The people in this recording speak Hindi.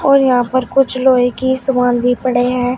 और यहां पर कुछ लोहे की समान भी पड़े हैं।